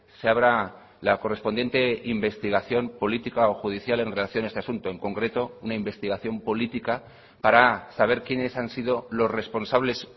se abra la correspondiente investigación política o judicial en relación a este asunto en concreto una investigación política para saber quiénes han sido los responsables